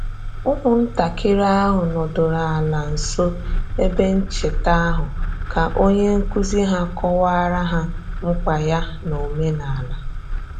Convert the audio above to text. Ụmụntakịrị ahụ nọdụrụ ala nso ebe ncheta ahụ ka onye nkuzi ha kọwara ha mkpa ya n'omenala